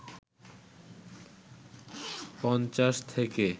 ৫০ থেকে